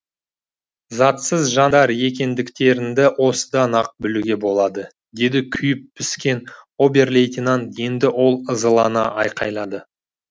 затсыз жанар екендіктеріңді осыдан ақ білуге болады деді күйіп піскен обер лейтенант енді ол ызалана айқайлады